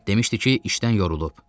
Demişdi ki, işdən yorulub.